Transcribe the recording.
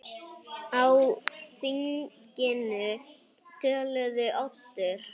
Á þinginu töluðu Oddur